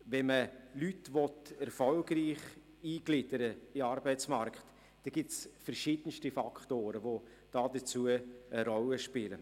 Wenn man Leute erfolgreich in den Arbeitsmarkt eingliedern will, gibt es verschiedenste Faktoren, die dabei eine Rolle spielen.